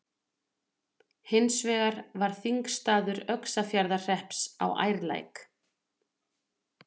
Hins vegar var þingstaður Öxarfjarðarhrepps á Ærlæk.